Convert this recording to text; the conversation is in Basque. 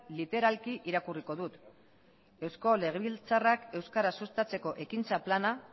literalki irakurriko dut eusko legebiltzarrak euskara sustatzeko ekintza plana